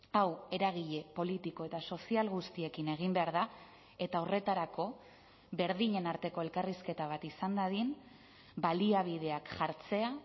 hau eragile politiko eta sozial guztiekin egin behar da eta horretarako berdinen arteko elkarrizketa bat izan dadin baliabideak jartzea